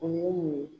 O ye mun ye